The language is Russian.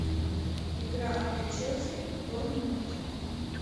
игра апл челси борнмут